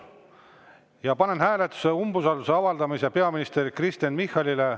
Ja panen hääletusele umbusalduse avaldamise peaminister Kristen Michalile.